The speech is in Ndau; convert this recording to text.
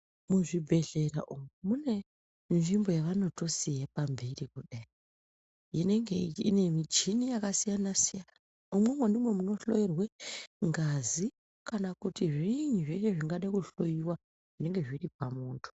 Muzvibhedhlera umu mune nzvimbo yavanotoziva kuti inenge ine michini yakasiyana siyana. Imwomwo ndimwo mwunohloerwe ngazi kana kuti zviinyi zvimweni zvingada kuhloyiwa zvinenge zviri pamuntu.